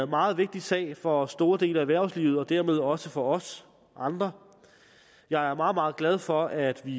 meget vigtig sag for store dele af erhvervslivet og dermed også for os andre jeg er meget meget glad for at vi